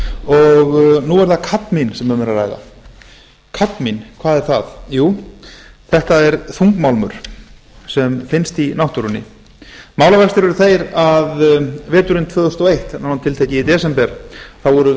og nú er það kadmín sem um er að ræða kadmín hvað er það þetta er þungmálmur sem finnst í náttúrunni málavextir eru þeir að veturinn tvö þúsund og eitt nánar tiltekið í desember voru